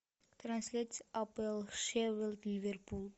трансляция апл шеффилд ливерпуль